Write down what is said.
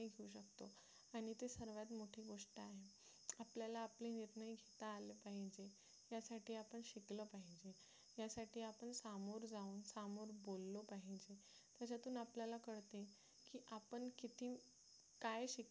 आपल्याला आपले निर्णय घेता आले पाहिजे त्यासाठी आपण शिकलो पाहिजे त्यासाठी आपण सामोरे जाऊन समोर बोललो पाहिजे त्याच्यातून आपल्याला करते की आपण किती काय शिकलो